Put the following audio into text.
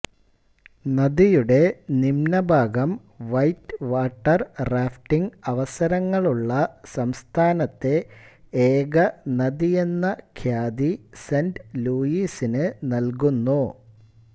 നദിയുടെ നിമ്ന്ന ഭാഗം വൈറ്റ് വാട്ടർ റാഫ്റ്റിംഗ് അവസരങ്ങളുള്ള സംസ്ഥാനത്തെ ഏക നദിയെന്ന ഖ്യാതി സെന്റ് ലൂയിസിന് നൽകുന്നു